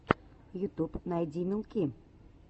ютуб найди милки